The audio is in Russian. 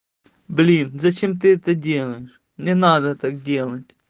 блин зачем ты это делаешь не надо так делать